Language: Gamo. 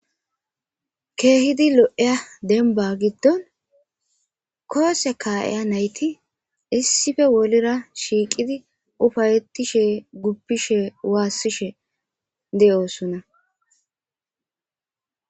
Kehi lo'izza dembba goddon kuwasse kaiiza naytti issippe shiqiidi uuffa'etishe dossona.